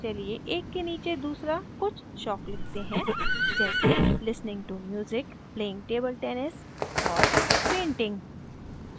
चलिए एक के नीचे दूसरा कुछ शौक लिखते हैं जैसेlistening to music playing table tennis और painting